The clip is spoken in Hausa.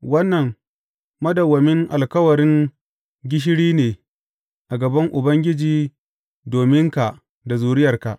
Wannan madawwamin alkawarin gishiri ne a gaban Ubangiji dominka da zuriyarka.